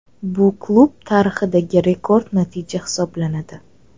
Bu klub tarixidagi rekord natija hisoblanadi.